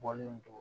Bɔlen don